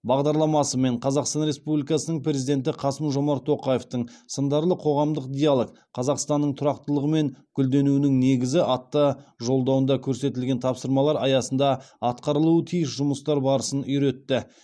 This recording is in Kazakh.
бағдарламасы мен қазақстан республикасының президенті қасым жомарт тоқаевтың сындарлы қоғамдық диалог қазақстанның тұрақтылығы мен гүлденуінің негізі атты жолдауында көрсетілген тапсырмалар аясында атқарылуы тиіс жұмыстар барысын үйретті